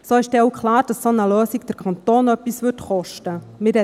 So ist auch klar, dass eine solche Lösung den Kanton etwas kosten würde.